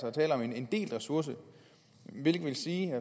er tale om en delt ressource hvilket vil sige